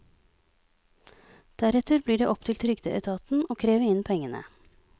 Deretter blir det opp til trygdeetaten å kreve inn pengene.